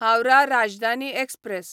Howrah Rajdhani express